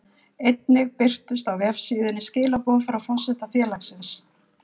Einnig birtust á vefsíðunni skilaboð frá forseta félagsins.